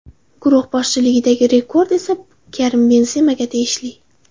Guruh bosqichidagi rekord esa Karim Benzemaga tegishli.